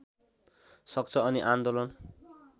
सक्छ अनि आन्दोलन